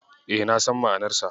E, na san ma'anarsa.